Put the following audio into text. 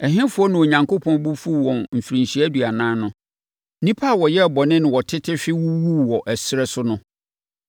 Ɛhefoɔ na Onyankopɔn bo fuu wɔn mfirinhyia aduanan no? Nnipa a wɔyɛɛ bɔne na wɔtete hwe wuwuu wɔ ɛserɛ so no.